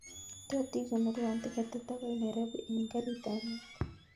Tot ikonorwon tiketit akoi nairobi en garit ab maat